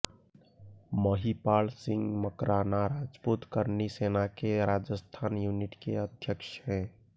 महिपाल सिंह मकराना राजपूत कर्णी सेना के राजस्थान यूनिट के अध्यक्ष है